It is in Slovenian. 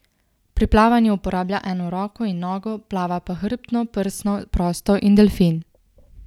Pri plavanju uporablja eno roko in nogo, plava pa hrbtno, prsno, prosto in delfin.